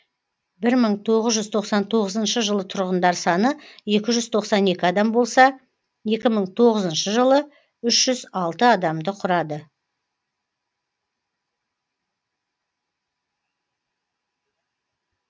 бір мың тоғыз жүз тоқсан тоғызыншы жылы тұрғындар саны екі жүз тоқсан екі адам болса екі мың тоғызыншы жылы үш жүз алты адамды құрады